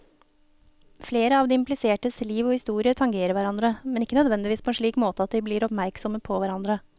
Flere av de implisertes liv og historier tangerer hverandre, men ikke nødvendigvis på en slik måte at de blir oppmerksomme på hverandre.